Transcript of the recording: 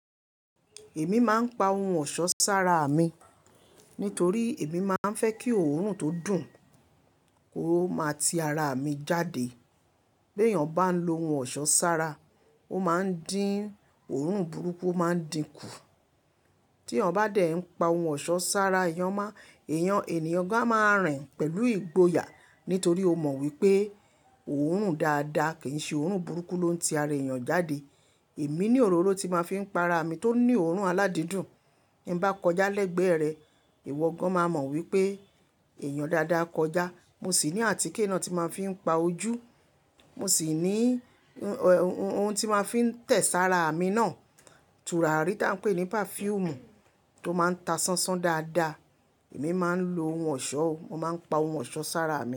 Èmi máa ń pa ohun ọ̀ṣọ́ sára mi, nítorí èmi máa ń fẹ́ kí òórùn tó dùn kó máa ti ara mi jáde. B'èèyàn bá ń lo ohun ọ̀ṣọ́ sára, ó máa ń dín òórùn burúkú, ó máa ń dínkù. T'èèyàn bá dẹ̀ ń pa ohun ọ̀ṣọ́ sára ẹ̀yọ̀n má, èèyàn ènìyàn gan máa rìn pẹ̀lú ìgboyà, nítorí ó mọ wípé òórùn dáadáa kì í ṣe òórùn burúkú ló ń ti ara èèyàn jáde. Èmi ní òróró tí máa ń fi ń pa ara mi tó ní òórùn aládìndùn. Bí m bá kọjá lẹ́gbẹ̀ẹ́ rẹ̀, ìwọ gan máa mọ wípé èèyàn dáadáa kọjá. Mo sì ní àtíkè náà tí máa ń fi ń pa ojú. Mo sì ní ohun, ohun tí máa ń fi ń tẹ̀ sára mi náà. Tùrárí tá ń pè ní perfume tó máa ń ta sánsán dáadáa. Èmi máa ń lo ohun ọ̀ṣọ́, mo máa ń pa ohun ọ̀ṣọ́ sára mi.